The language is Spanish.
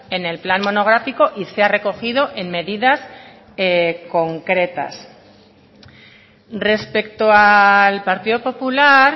en el plan monográfico y se ha recogido en medidas concretas respecto al partido popular